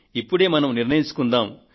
ఇప్పుడే మనం నిర్ణయించుకుందాము